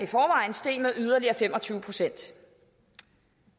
steg med yderligere fem og tyve procent